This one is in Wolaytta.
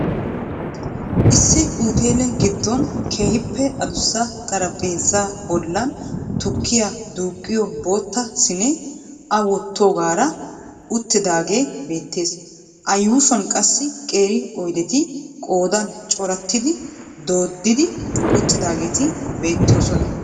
Isssi utele gidon keehiippe adussa xaraphpheezzaa bollan tukkiya duuqqiyo bootta siinee a wottiyoogaara uttidaagee beettees. A yushshuwan qassi qeeri oydetti qoodan corattidi dooddi uttidaageeti beetoosona.